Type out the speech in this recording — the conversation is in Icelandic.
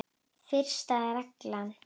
Fyrsta reglan.